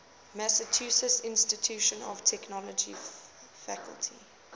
massachusetts institute of technology faculty